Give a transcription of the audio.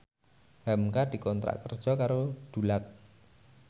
hamka dikontrak kerja karo Dulux